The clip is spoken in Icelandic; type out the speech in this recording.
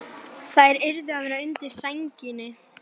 Þær yrðu að vera undir sænginni.